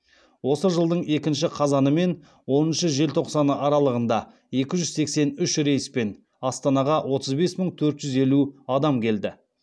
осы жылдың екінші қазаны мен оныншы желтоқсаны аралығында екі жүз сексен үш рейспен астанаға отыз бес мың төрт жүз елу адам келді